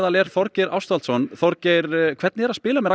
er Þorgeir Ástvaldsson Þorgeir hvernig er að spila með Ragga